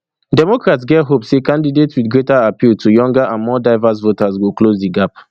democrats get hope say candidate wit greater appeal to younger and more diverse voters go close di gap